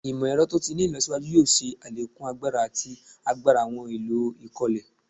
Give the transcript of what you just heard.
Imọ-ẹrọ to ti ni ilọsiwaju yoo ṣe alekun agbara ati agbara awọn ohun elo ikole